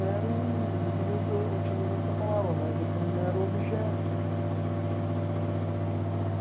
Mero, não queria usa utilizar essa palavra, mas é como um mero objeto.